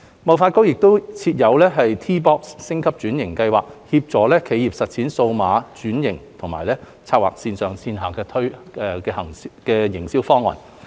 貿發局亦設有 T-box 升級轉型計劃，協助企業實踐數碼轉型及籌劃線上線下營銷方案。